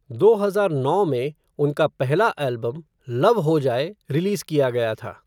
दो हजार नौ में, उनका पहला एल्बम, लव हो जाए, रिलीज़ किया गया था।